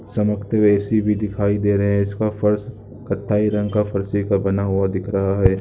चमतके हुए ए.सी भी दिखाई दे रहें हैं इसका फर्श कत्थई रंग का फर्श भी बना हुआ दिख रहा है।